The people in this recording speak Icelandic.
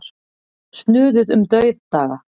Snuðuð um dauðdaga.